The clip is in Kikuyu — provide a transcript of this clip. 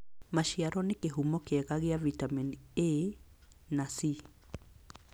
Maciaro nĩ kĩhumo kĩega kĩa vitamini A na C.